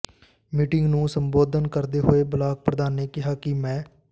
meeting ਨੂੰ ਸੰਬੋਧਨ ਕਰਦੇ ਹੋਏ ਬਲਾਕ ਪ੍ਰਧਾਨ ਨੇ ਕਿਹਾ ਕਿ ਮੈ